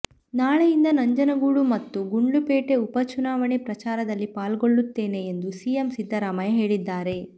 ನಾಳೆಯಿಂದ ನಂಜನಗೂಡು ಮತ್ತು ಗುಂಡ್ಲುಪೇಟೆ ಉಪಚುನಾವಣೆ ಪ್ರಚಾರದಲ್ಲಿ ಪಾಲ್ಗೊಳ್ಳುತ್ತೇನೆ ಎಂದು ಸಿಎಂ ಸಿದ್ದರಾಮಯ್ಯ ಹೇಳಿದ್ದಾರೆ